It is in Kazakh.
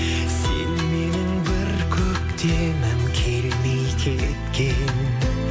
сен менің бір көктемім келмей кеткен